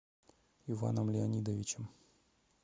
иваном леонидовичем